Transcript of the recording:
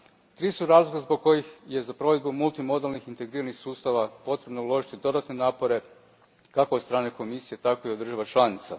Tri su razloga zbog kojih je za provedbu multimodalnih integriranih sustava potrebno uložiti dodatne napore, kako od strane Komisije, tako i od država članica.